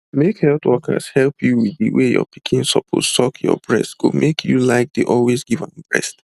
make health workers help you with the way your pikin suppose suck your breast go make you like dey always give am breast